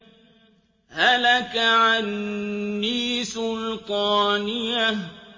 هَلَكَ عَنِّي سُلْطَانِيَهْ